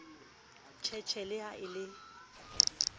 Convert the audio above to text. sheshe le ha e le